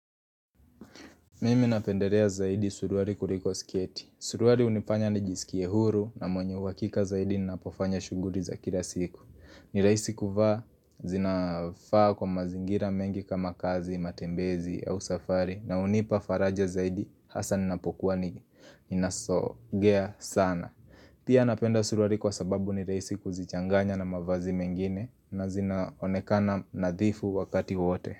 Mimi napendelea zaidi suruali kuliko sketi. Suruali hunifanya nijisikie huru na mwenye uhakika zaidi ninapofanya shughuli za kila siku. Ni raisi kuvaa zinafaa kwa mazingira mengi kama kazi, matembezi au safari na hunipa faraja zaidi hasa ninapokuwa ni nasogea sana. Pia napenda suruali kwa sababu ni rahisi kuzichanganya na mavazi mengine na zinaonekana nadhifu wakati wowote.